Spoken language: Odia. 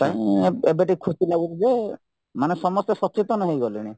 ପାଇଁ ଏବେ ଟିକେ ଖୁସି ଲାଗୁଚିଯେ ମାନେ ସମସ୍ତେ ସଚେତନ ହେଇଗଲେଣି